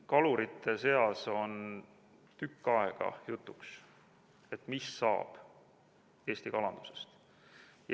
Kalurite seas on tükk aega olnud jutuks, mis saab Eesti kalandusest.